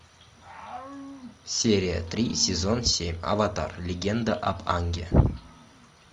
серия три сезон семь аватар легенда об аанге